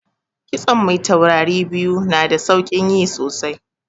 Kitson mai taurari biyu na da saukin yi sosai